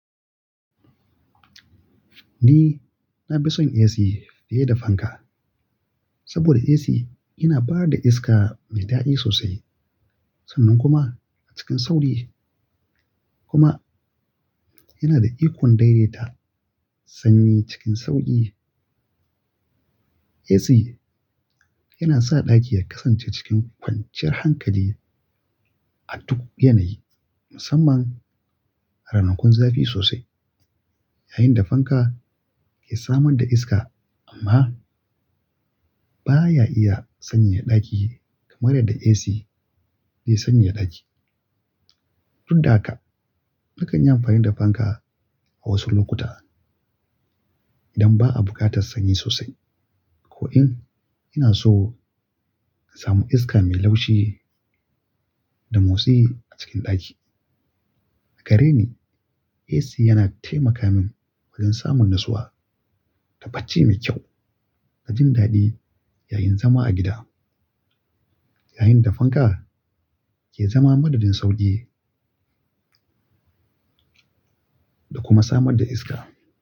Ni na fi son AC fiye da fanka saboda AC yana ba da iska mai daɗi sosai sannan kuma a cikin sauƙi kuma yana da ikon daidaita sanyi cikin sauƙi. AC yana sa ɗaki ya kasance cikin kwanciyar hankali a duk yanayi, musamman a ranakun zafi sosai, yayin da fanka ke samar da iska amma baya iya sanya ɗaki kamar yadda AC zai sanya ɗaki. Tun daga haka nakan yi amfani da fanka a wasu lokuta idan ba a buƙatar sanyi sosai. Ko in ina so in samu iska mai laushi da motsi a cikin ɗaki. A gare ni AC yana taimaka min wajen samun rasuwa da bacci mai kyau da jin daɗi yayin zama a gida, yayin da fanka ke zama madadin sauƙi da kuma samar da iska.